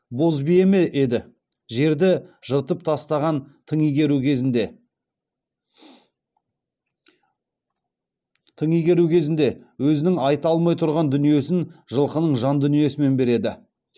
боз бие ме еді жерді жыртып тастаған тың игеру кезінде өзінің айта алмай тұрған дүниесін жылқының жан дүниесімен береді